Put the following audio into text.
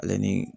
Ale ni